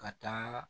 Ka taa